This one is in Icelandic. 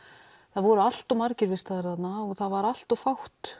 það voru allt of margir vistaðir þarna og það var allt of fátt